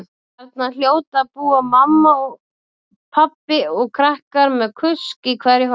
Þarna hljóta að búa mamma, pabbi og krakkar með kusk í hverju horni.